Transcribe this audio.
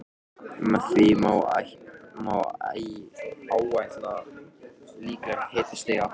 Með því má áætla líklegt hitastig niður á